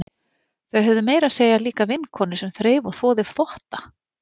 Þau höfðu meira að segja líka vinnukonu sem þreif og þvoði þvotta.